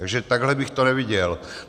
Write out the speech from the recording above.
Takže takhle bych to neviděl.